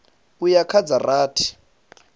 u ya kha dza rathi